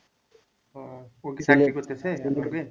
হ্যাঁ ও কি চাকরি করতেছে